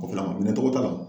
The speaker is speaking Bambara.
O filaŋ minɛtogo t'a la